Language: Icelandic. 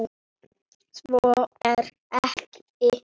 Svo er ekki.